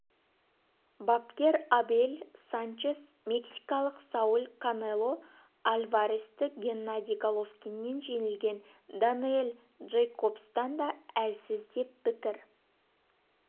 бапкер абель санчес мексикалық сауль канело альваресті геннадий головкиннен жеңілген дэниэл джейкобстан да әлсіз деп пікір